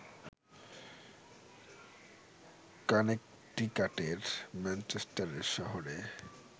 কানেকটিকাটের ম্যানচেস্টারে শহরে